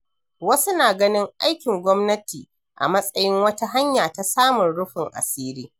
Wasu na ganin aikin gwamnati a matsayin wata hanya ta samun rufin asiri.